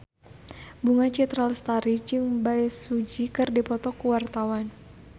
Bunga Citra Lestari jeung Bae Su Ji keur dipoto ku wartawan